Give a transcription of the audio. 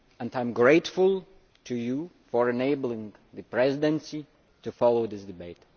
I am grateful to you for enabling the Presidency to follow this debate.